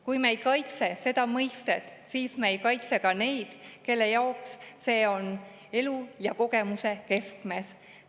Kui me ei kaitse seda mõistet, siis me ei kaitse ka neid, kelle jaoks see on elu ja kogemuse keskmes.